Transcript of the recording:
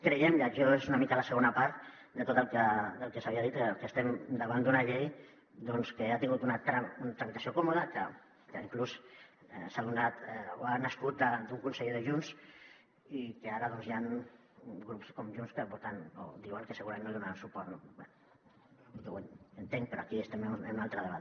creiem i això és una mica la segona part de tot el que s’havia dit que estem davant d’una llei que ha tingut una tramitació còmoda que inclús ha nascut d’un conseller de junts i que ara doncs hi han grups com junts que voten o diuen que segurament no hi donaran suport no bé ho entenc però aquí estem en un altre debat